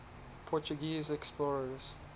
portuguese explorers